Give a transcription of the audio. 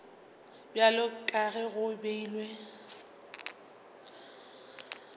bjalo ka ge go beilwe